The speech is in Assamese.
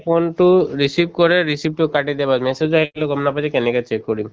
phone টো receive কৰে receive তো message আহিলেও গম নাপাই যে কেনেকে check কৰিম